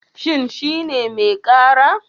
Shin shi ne mai ƙara?